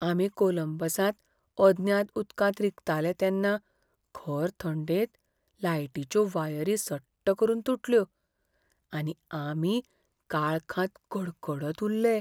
आमी कोलंबसांत अज्ञात उदकांत रिगताले तेन्ना खर थंडेंत लायटीच्यो वायरी सट्ट करून तुटल्यो आनी आमी काळखांत कडकडत उरले.